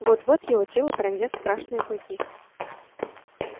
вот-вот его тело пронзят страшные клыки